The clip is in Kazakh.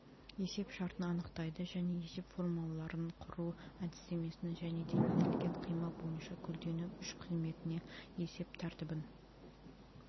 есеп шартын анықтайды және есеп формулаларын құру әдістемесін және де иілген қима бойынша көлденең үш қызметіне есеп тәртібін